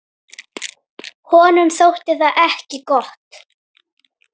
Honum þótti það ekki gott.